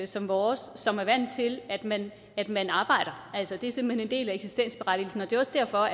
som vores som er vant til at man at man arbejder det er simpelt hen en del af eksistensberettigelsen det er også derfor